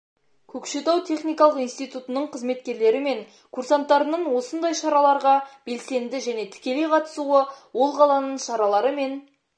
көкшетау техникалық институтының қызметкерлері мен курсанттарының осындай шараларғы белсенді және тікелей қатысуы ол қаланың шаралары мен